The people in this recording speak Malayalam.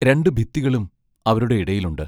രണ്ടു ഭിത്തികളും അവരുടെ ഇടയിലുണ്ട്.